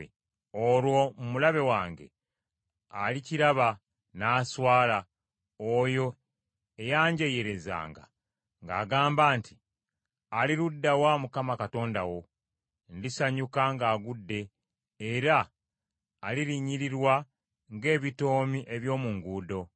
Olwo omulabe wange alikiraba, n’aswala, oyo eyanjeeyerezanga ng’agamba nti, “Ali ludda wa Mukama Katonda wo?” Ndisanyuka ng’agudde, era alirinnyirirwa ng’ebitoomi eby’omu nguudo.